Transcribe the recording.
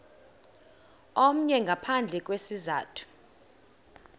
omnye ngaphandle kwesizathu